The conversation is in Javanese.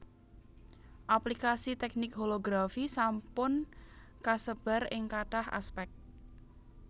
Aplikasi teknik holografi sampun kasebar ing kathah aspèk